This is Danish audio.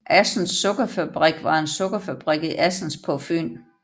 Assens Sukkerfabrik var en sukkerfabrik i Assens på Fyn